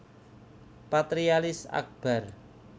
Patrialis Akbar